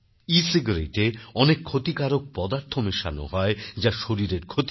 e-cigarette এ অনেক ক্ষতিকারক পদার্থ মেশানো হয় যা শরীরের ক্ষতি করে